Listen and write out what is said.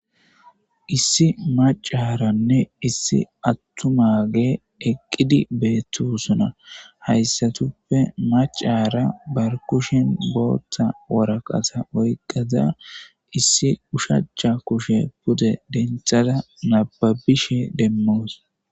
Issi maccaranne issi atumage eqidi beetosona haysatuppe maccara bakushen bootha waraqata oyqada issi oshacha kushe pude denthada nababishe demawus.